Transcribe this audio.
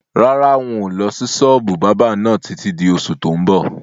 Rárá, ń ó lọ sí sọ́ọ́bù báábà náà títí di oṣù tó ń bọ̀